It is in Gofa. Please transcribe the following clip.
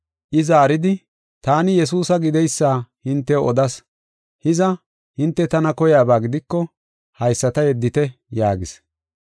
I zaaridi, “Taani Yesuusa gideysa hintew odas. Hiza, hinte tana koyaba gidiko haysata yeddite” yaagis.